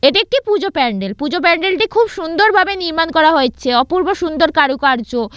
এটি একটি পূজো প্যান্ডেল পুজো প্যান্ডেল -টি খুব সুন্দর ভাবে নির্মাণ করা হয়েছে অপূর্ব সুন্দর কারুকার্য।